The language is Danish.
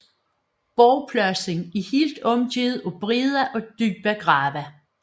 Borgpladsen er helt omgivet af brede og dybe grave